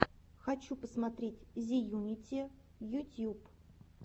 хочу посмотреть зеюнити ютьюб